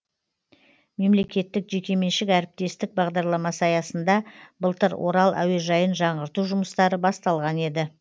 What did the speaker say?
мемлекеттік жекеменшік әріптестік бағдарламасы аясында былтыр орал әуежайын жаңғырту жұмыстары басталған еді